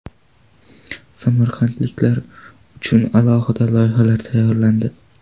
Samarqandliklar uchun alohida loyihalar tayyorlandi.